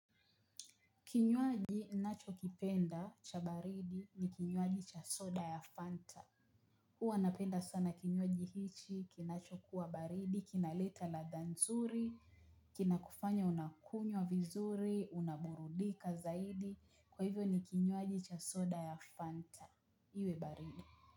Kinywaji ninachokipenda cha baridi ni kinywaji cha soda ya Fanta. Huwa napenda sana kinywaji hichi, kinachokuwa baridi, kinaleta ladha nzuri, kinakufanya unakunywa vizuri, unaburudika zaidi, kwa hivyo ni kinywaji cha soda ya Fanta, iwe baridi.